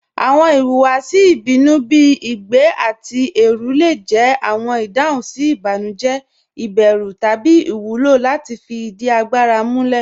Awọn ìhùwàsì ìbínú bí igbẹ̀ àti ẹrù le jẹ awọn ìdáhùn sí ìbànújẹ̀, ìbérù, tabí iwúlọ láti fí ìdí àgbàrà múlẹ̀.